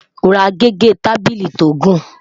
rà gẹgẹ tábìlì tó gùn